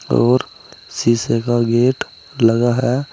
और शीशे का गेट लगा है।